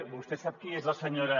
vostè sap qui és la senyora